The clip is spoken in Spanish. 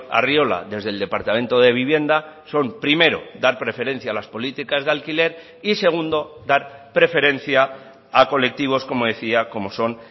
arriola desde el departamento de vivienda son primero dar preferencia a las políticas de alquiler y segundo dar preferencia a colectivos como decía como son